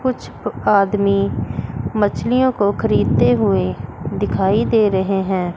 कुछ आदमी मछलियों को खरीदते हुए दिखाई दे रहे हैं।